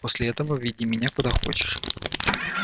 после этого веди меня куда хочешь